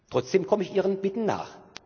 Trotzdem komme ich Ihren Bitten